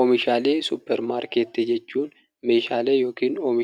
Oomishaalee suupparmaarkeetii jechuun